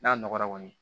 N'a nɔgɔra kɔni